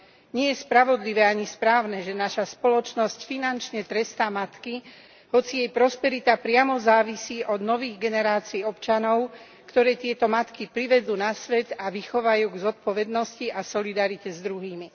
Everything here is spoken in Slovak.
Nie je spravodlivé ani správne, že naša spoločnosť finančne trestá matky, hoci jej prosperita priamo závisí od nových generácií občanov, ktoré tieto matky privedú na svet a vychovajú k zodpovednosti a solidarite s druhými.